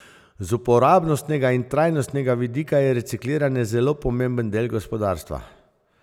Z uporabnostnega in trajnostnega vidika je recikliranje zelo pomemben del gospodarstva.